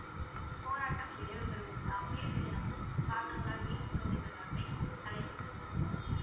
போராட்டம் நிறைவு பெறும்போது காரணங்களால்